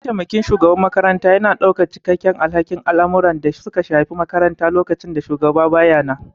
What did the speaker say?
Mataimakin shugaban makaranta yana ɗaukar cikakken alhakin al'amuran da suka shafi makarantar lokacin da shugaban ba ya nan.